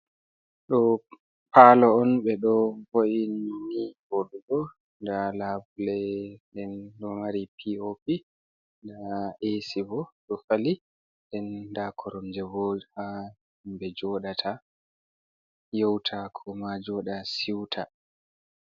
Ɗo'o paalo on ɓe vo''ni nii vooɗugo, ndaa laabule nden ndaa eesi bo ɗo fali nden ndaa koromje boo ha himɓe jooɗata yewta koo ma siwta.